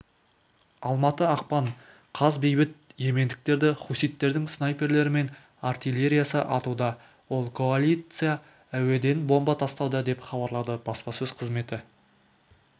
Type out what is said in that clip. алматы ақпан қаз бейбіт йемендіктерді хуситтердің снайперлері мен артиллериясы атуда ал коалиция әуеден бомба тастауда деп хабарлады баспасөз қызметі